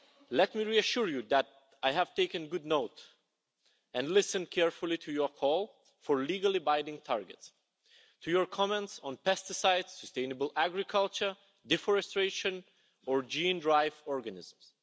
Let me reassure you that I have taken good note and listened carefully to your call for legally-binding targets, to your comments on pesticides, sustainable agriculture, deforestation and gene-drive organisms.